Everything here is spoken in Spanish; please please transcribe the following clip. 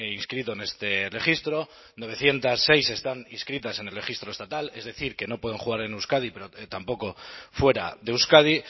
inscrito en este registro novecientos seis están inscritas en el registro estatal es decir que no pueden jugar en euskadi pero tampoco fuera de euskadi